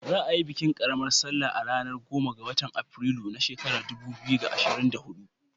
Za a yi bikin ƙaramar salla a ranar goma ga watan afrilu na shekarar dubu biyu da ashirin da hudu.